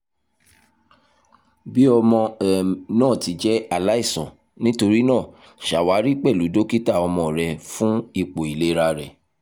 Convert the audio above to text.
bi ọmọ um naa ti jẹ alaisan nitorinaa ṣawari pẹlu dokita ọmọ rẹ fun ipo ilera rẹ